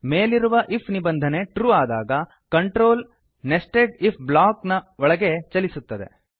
ಮೇಲಿರುವ ಐಎಫ್ ನಿಬಂಧನೆ ಟ್ರೂ ಆದಾಗ control nested IF nested if block ನ ಒಳಗೆ ಚಲಿಸುತ್ತದೆ